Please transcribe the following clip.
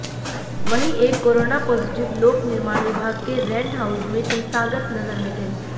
वहीं एक corona positive लोक निर्माण विभाग के रेंट हाउस में संस्थागत नजर में थे